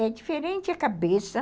É diferente a cabeça.